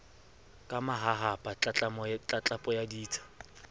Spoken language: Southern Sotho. ka mahahapa tlatlapo ya ditsha